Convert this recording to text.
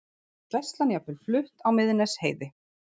Gæslan jafnvel flutt á Miðnesheiði